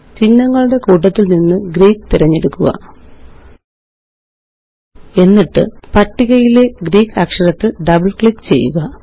ചിഹ്നങ്ങളുടെ കൂട്ടത്തില് നിന്ന് ഗ്രീക്ക് തിരഞ്ഞെടുക്കുക എന്നിട്ട് പട്ടികയിലെ ഗ്രീക്ക് അക്ഷരത്തില് ഡബിള് ക്ലിക്ക് ചെയ്യുക